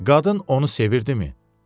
Qadın onu sevirdimi?